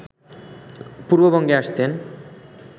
পূর্ববঙ্গে আসতেন